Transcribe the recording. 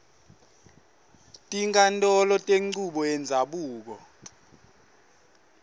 tinkhantolo tenchubo yendzabuko